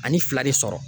Ani fila de sɔrɔ